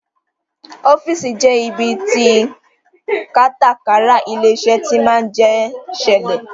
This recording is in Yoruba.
Ọ́fíìsì jẹ ibi tí kátàkárà ilé-iṣẹ́ tí máa ń jẹ ṣẹlẹ̀